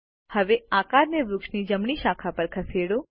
હવે આકારને વૃક્ષની જમણી શાખા પર ખસેડો